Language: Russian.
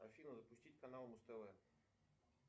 афина запустить канал муз тв